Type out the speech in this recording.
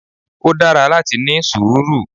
Ó dára láti ní sùúrù.